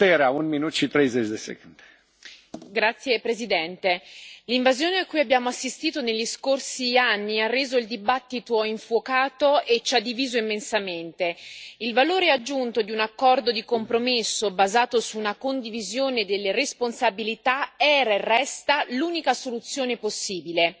Signor Presidente, onorevoli colleghi, l'invasione a cui abbiamo assistito negli scorsi anni ha reso il dibattito infuocato e ci ha diviso immensamente. Il valore aggiunto di un accordo di compromesso, basato su una condivisione delle responsabilità, era e resta l'unica soluzione possibile.